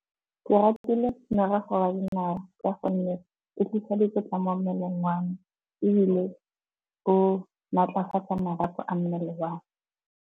Ke ratile morogo wa dinawa ka gonne e tlisa dikotla mo mmeleng wame, ebile bo maatlafatsa marapo a mmele wame.